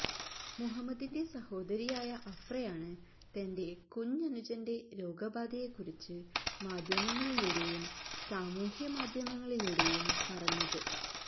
മുഹമ്മദിന്റെ സഹോദരിയായ അഫ്രയാണ് തന്റെ കുഞ്ഞനുജന്റെ രോഗബാധയെക്കുറിച്ച് മാധ്യമങ്ങളിലൂടെയും സാമൂഹ്യ മാധ്യമങ്ങളിലൂടെയും പറഞ്ഞത്